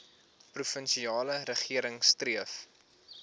provinsiale regering streef